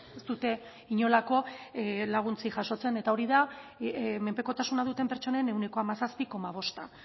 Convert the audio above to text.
ez dute inolako laguntzarik jasotzen eta hori da menpekotasuna duten pertsonen ehuneko hamazazpi koma bosta